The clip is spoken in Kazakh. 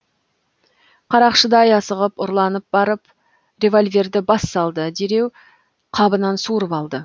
қарақшыдай асығып ұрланып барып револьверді бас салды дереу қабынан суырып алды